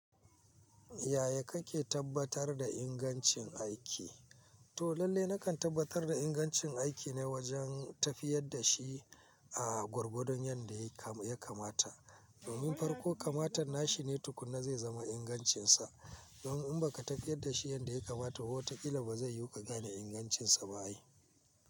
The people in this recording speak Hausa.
Yaya kake tabbatar da ingancin aiki? To lalle nakan tabbatar da ingancin aiki ne wajen tafiyar da shi a gorgodon yadda ya kamata. Domin farko kamata nashi ne tukuna zai zama ingancinsa. Don in baka tafiyar da shi yadda ya kamata, wataƙila ba zai yiwu ka gane ingancinsa ba ai.